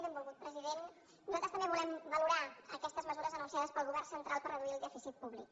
benvolgut president nosaltres també volem valorar aquestes mesures anunciades pel govern central per reduir el dèficit públic